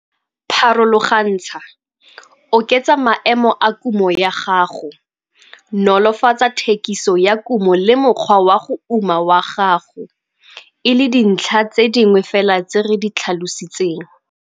Pharologantsha, oketsa maemo a kumo ya gago, nolofatsa thekiso ya kumo le mokgwa wa go uma wa gago, e le dintlha tse dingwe fela tse re di tlhalositseng.